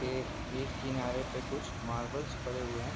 ये एक किनारे पे कुछ मार्बल्स पड़े हुए हैं।